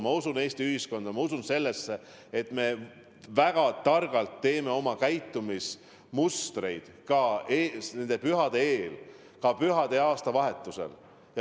Ma usun Eesti ühiskonda, ma usun sellesse, et me väga targalt teeme oma käitumismustrid nende pühade eel, nende pühade ajal ja aastavahetusel.